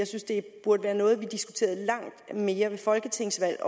synes det burde være noget vi diskuterede langt mere ved folketingsvalg